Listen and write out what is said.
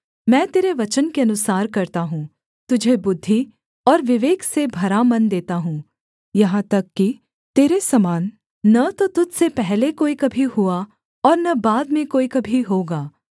मैं तेरे वचन के अनुसार करता हूँ तुझे बुद्धि और विवेक से भरा मन देता हूँ यहाँ तक कि तेरे समान न तो तुझ से पहले कोई कभी हुआ और न बाद में कोई कभी होगा